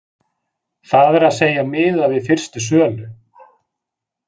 Það er að segja miðað við fyrstu sölu,